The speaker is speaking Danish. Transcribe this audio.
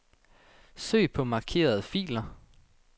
Søg på markerede filer.